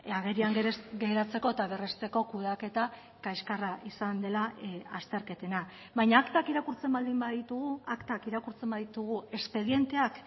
agerian geratzeko eta berresteko kudeaketa kaxkarra izan dela azterketena baina aktak irakurtzen baldin baditugu aktak irakurtzen baditugu espedienteak